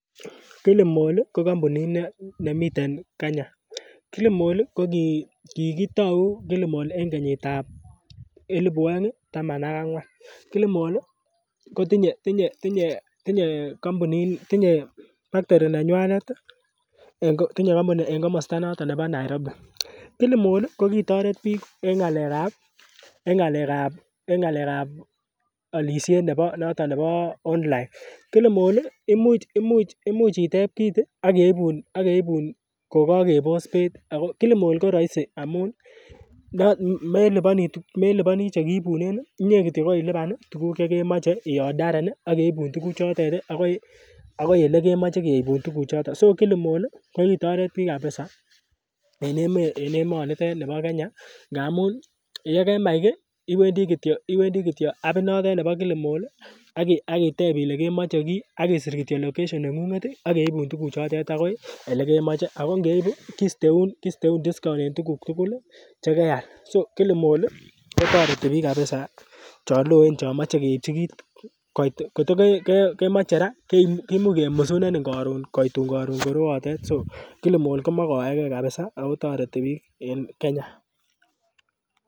Kilimall ih ko kampunit nemiten Kenya Kilimall ko kikitou Kilimall en kenyit ab elipu oeng taman ak ang'wan, Kilimall kotinye factory nenywanet en komosta noton nebo Nairobi Kilimall ko kitoret biik en ng'alek ab en ng'alek ab olisiet nebo noton nebo online Kilimall imuch imuch imuch itep kit ih ak keibun ak keibun kokakebos beit Kilimall ko roisi amun meliponii chekiibunen inyee kityok kolipan tuguk chekemoche iodaren ak keibun tuguk chotet ih akoi elekemoche keibun tuguk choton so Kilimall kokitoret biik kabisa en emonitet nibo Kenya amun yekemach kiy iwendii kityo iwendii kityo appit notet nebo Kilimall ih ak itep ile kemoche kiy ak isir kityok location neng'unget ih ak keibun tuguk chotet akoi elekemoche ako ngeibun kosteun kisteun discount en tuguk tugul chekeal so Kilimall kotoreti biik kabisa chon loen chon moche keipchi kit koit kot kemoche raa kimuch kemusunenin koron koitun koron korootet so Kilimall komokoege kabisa ako toreti biik en Kenya